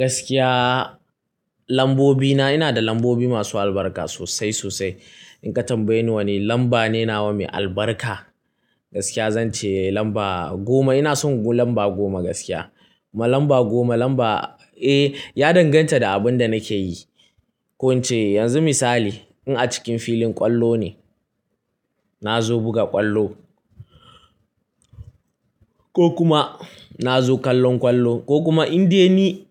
Gaskiya lambobina, ina da lambobi masu albarka sosai sosai. In ka tambaye ni wani lamba ne na wa mai albarka, gaskiya zan ce lamba goma. Ina son lamba goma gaskiya. Lamba goma lamba, eh, ya danganta da abin da nake yi. Ko in ce yanzu misali in a cikin filin ƙwallo ne, na zo buga ƙwallo ko kuma na zo kallon ƙwallo ko kuma in dai ni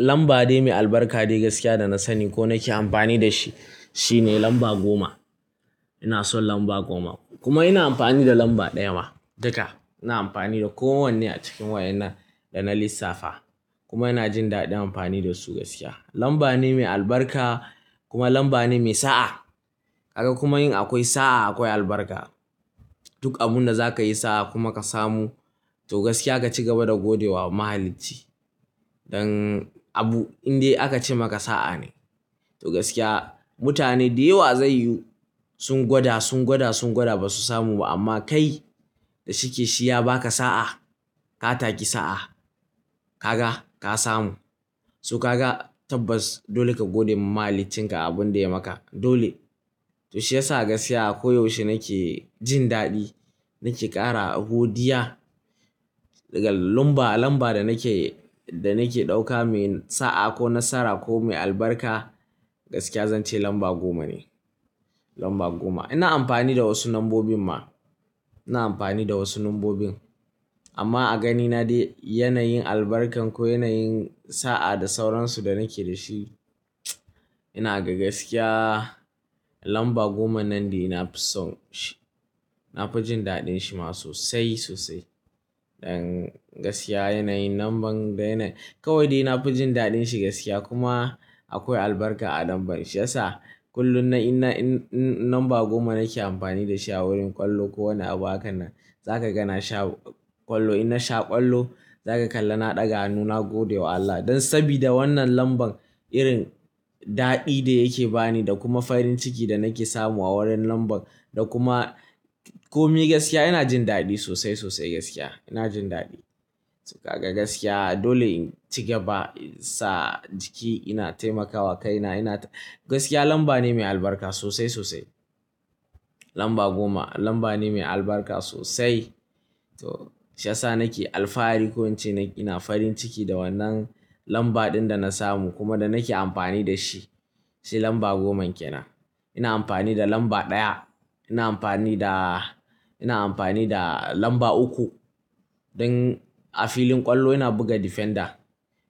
lamba dai mai albarka dai gaskiya da na sani ko nake amfani da shi shine lamba goma. Ina son lamba goma kuma ina amfani da lamba ɗaya ma duka. Ina amfani da kowanne a cikin wa'inan da na lissafa kuma ina jin daɗin amfani da su gaskiya. Lamba ne mai albarka kuma lamba ne mai sa'a. Kaga kuma in akwai sa'a akwai albarka. Duk abunda za ka yi sa'a kuma ka samu to gaskiya ka ci gaba da godewa mahalici. Dan abu in dai aka ce maka sa'a ne, to gaskiya mutane da yawa zai yu sun gwada, sun gwada, sun gwada ba su samu ba amma kai da shike shi ya baka sa'a, ka taki sa'a, ka ga ka samu. To ka ga tabbas dole ka gode mahalicinka abin da ya maka. Dole. To shi yasa gaskiya koyaushe nake jin daɗi, nake ƙara godiya daga lamba, lamba da nake, da nake ɗauka mai sa'a ko nasara ko mai albarka gaskiya zan ce lamba goma ne. Lamba goma. Ina amfani da wasu lambobin ma. Ina amfani da wasu lambobin amma a ganina dai yanayin albarkan ko yanayin sa'a da sauransu da nake da shi ina ga gaskiya lamba goma nan dai na fi son shi. Na fi jin daɗin shi ma sosai sosai. Dan gaskiya yanayin lamban dai na kawai dai na fi jin daɗin shi gaskiya kuma akwai albarka a lamban shi yasa kullum na ina in namba goma nake amfani da shi a wurin ƙwallo ko wani abu hakan nan. Za ka gani na sha ƙwallo, in na sha ƙwallo za ka kalla na ɗaga hannuna gode wa Allah. Dan sabida wannan lamban irin daɗi da yake bani da kuma farin ciki da nake samu a wurin lamban da kuma komi gaskiya ina jin daɗi sosai sosai gaskiya. Ina jin daɗi. To ka ga gaskiya dole in ci gaba sa jiki ina taimakawa kaina ina ta-- gaskiya lamba ne mai albarka sosai sosai. Lamba goma lamba ne mai albarka sosai. To shi yasa nake alfahari ko in ce ina farin ciki da wannan lamba ɗin da na samu kuma da nake amfani da shi. Shi lamba goma kenan. Ina amfani da lamba ɗaya, ina amfani da, ina amfani da lamba uku. Dan a filin ƙwallo ina buga defender.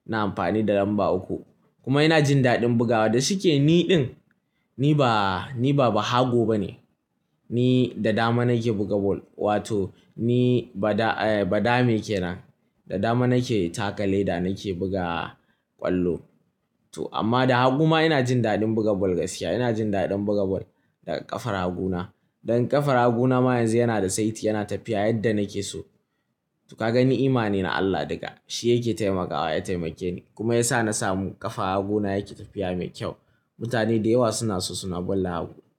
Ina amfani da lamba uku kuma ina jin daɗin bugawa. Da shike ni ɗin ni ba, ni ba bahago ba ne. Ni da dama nake buga ball. Wato ni ba da, eh ba dame ke nan. Da dama nake takale da nake buga ƙwallo. To amma da hagu ma ina jin daɗin buga ball gaskiya. Ina jin daɗin buga ball da ƙafar haguna. Dan ƙafar haguna ma yanzu yana da saiti yana tafiya yadda nake so. To ka ga ni imane na Allah duka. Shi yake taimakawa ya taimake ni kuma ya sa na samu ƙafar haguna yake tafiya mai kyau. Mutane da yawa suna so suna ball da hagu.